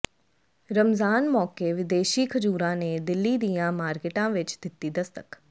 ਰਮਜ਼ਾਨ ਮੌਕੇ ਵਿਦੇਸ਼ੀ ਖਜੂਰਾਂ ਨੇ ਦਿੱਲੀ ਦੀਆਂ ਮਾਰਕੀਟਾਂ ਵਿੱਚ ਦਿੱਤੀ ਦਸਤਕ